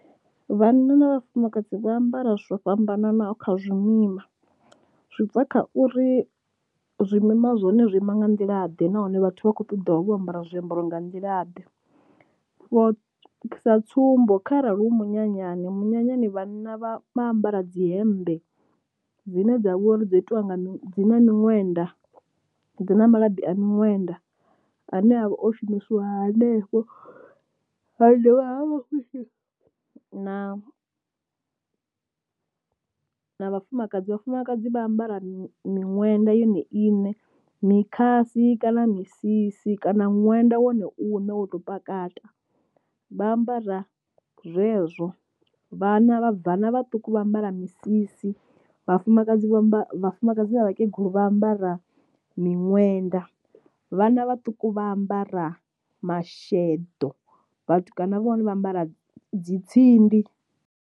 Vhanna na vhafumakadzi vha ambara zwo fhambananaho kha zwimima, zwi bva kha uri zwimima zwone zwo ima nga nḓilaḓe nahone vhathu vha kho ṱoḓa vho ambara zwiambaro nga nḓila ḓe, so sa tsumbo kharali hu munyanyani, munyanyani vhanna vha vha ambara dzi hembe dzine dzavha uri dzo itiwa nga mi dzi na miṅwenda dzi na malabi a miṅwenda ane avha o shumisiwa hanefho, ha dovha ha vha hu si na na vhafumakadzi, vhafumakadzi vha ambara miṅwenda yone iṋe mikhasi kana misisi kana ṅwenda wone u ne wo tou pakata, vha ambara zwezwo. Vhana vhabvana vhaṱuku vha ambara misisi vhafumakadzi vha vhafumakadzi na vhakegulu vha ambara miṅwenda vhana vhaṱuku vha ambara masheḓo, vhatukana vhone vha ambara dzi tsindi.